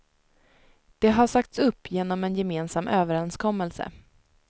Det har sagts upp genom en gemensam övererenskommelse.